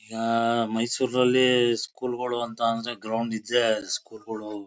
ಈಗ ಮೈಸೂರಿಲ್ಲಿ ಸ್ಕೂಲ್ ಗಳು ಅಂತ ಅಂದ್ರೆ ಗ್ರೌಂಡ್ ಇದ್ರೆ ಸ್ಕೂಲ್ ಗಳು.